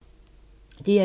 DR2